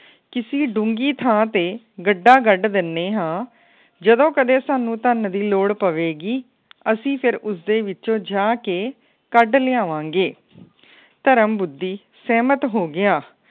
ਕਿਸੀ ਡੂੰਗੀ ਥਾਂ ਤੇ ਗੱਡਾ ਗੱਡ ਦਿਨੇ ਹਾਂ ਜਦੋ ਕਦੇ ਸਾਨੂੰ ਧੰਨ ਦੀ ਲੋੜ ਪਵੇ ਗੀ। ਅਸੀਂ ਫੇਰ ਉਸ ਦੇ ਵਿੱਚੋ ਜਾ ਕੇ ਕੱਢ ਲਿਆਵਾਂ ਗੇ। ਪਰਮ ਬੁੱਧੀ ਸਹਿਮਤ ਹੋ ਗਿਆ।